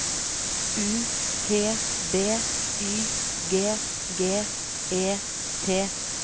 U T B Y G G E T